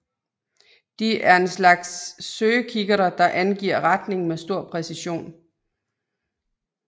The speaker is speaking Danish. De er en slags søgekikkerter der angiver retningen med stor præcision